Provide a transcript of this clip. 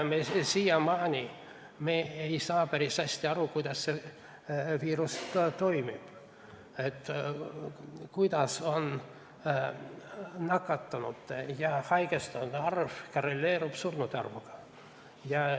Siiamaani ei saa me päris hästi aru, kuidas see viirus toimib, kuidas nakatunute ja haigestunute arv korreleerub surnute arvuga.